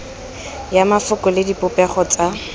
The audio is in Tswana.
ya mafoko le dipopego tsa